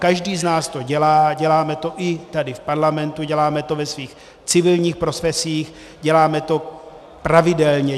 Každý z nás to dělá, děláme to i tady v parlamentu, děláme to ve svých civilních profesích, děláme to pravidelně.